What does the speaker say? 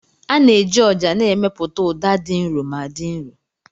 A na-eji ọjà na-emepụta ụda dị nro ma dị nro.